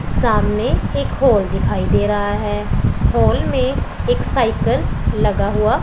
सामने एक हाल दिखाई दे रहा है हॉल में एक साइकिल लगा हुआ--